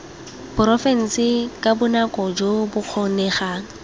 porofense ka bonako jo bokgonegang